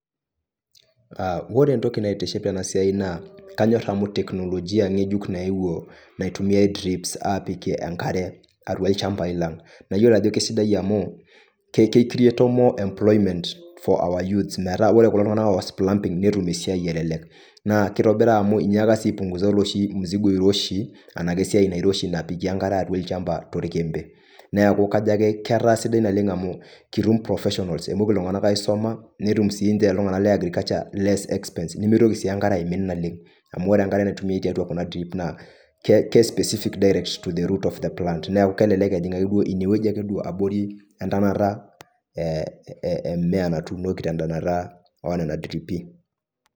Ore entoki naitiship tena siai naa kanyor amu teknolojia ng'ejuk nayewuo naitumiai drips aapikie enkare atua ilchambai lang', nayiolo ajo kesidai amu keicreato more employment for our youths metaa ore kulo tung'anak oas plumbing netum esiai elelek naa kitobira amu inyaaka sii apung'uza oloshi mzigo oiroshi enake esiai nairoshi napiki enkare atua ilchambai torkembe. Neeku kajo ake ketaa sidai naleng' amu kitum professionals emoki iltung'anak aisoma nitum siinje iltung'anak le agriculture less expense nemitoki sii enkare aimin naleng' amu ore enkare naitumiai tiatua kuna drip naa ke specific direct to the root of the plant. Neeku kelelek ejing' ine wueji ake duo abori entanata ee e mmea natuunoki te ntanata o nna driipi.